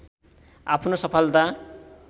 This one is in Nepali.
आफ्नो सफलता